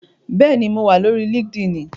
Bẹ́ẹ̀ni, mo wà lórí líkídíìnì